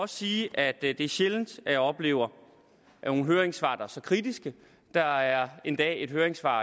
sige at det er sjældent at jeg oplever høringssvar der er så kritiske der er endda et høringssvar